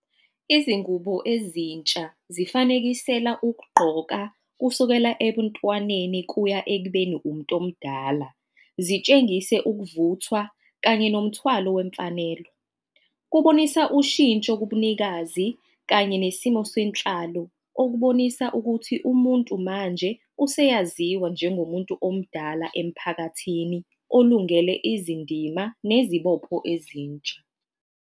Izingubo ezintsha zifanekisela ukugqoka, kusukela ebuntwaneni kuya ekubeni umuntu omdala. Zitshengise ukuvuthwa kanye nomthwalo wemfanelo. Kubonisa ushintsho kubunikazi kanye nesimo senhlalo. Okubonisa ukuthi umuntu manje useyaziwa njengomuntu omdala emphakathini olungele izindima nezibopho ezintsha.